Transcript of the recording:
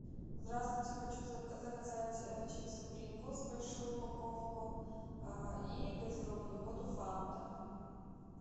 здравствуйте хочу заказать чипсы принглс большую упаковку и газированную воду фанта